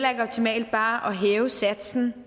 optimalt bare at hæve satsen